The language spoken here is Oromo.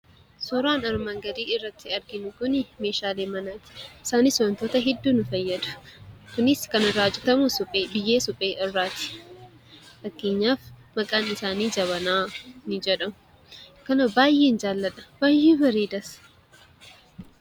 Suuraan armaan gadii irratti arginu kun meeshaalee manaati. Isaaniis wantoota hedduuf nu fayyadu. Kunis kan irraa hojjetamu biyye suphee irraati. Fakkeenyaaf maqaan isaanii jabanaa ni jedhamu. Kana baay'een jaalladha, ni bareeduus.